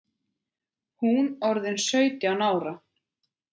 Hún orðin sautján ára.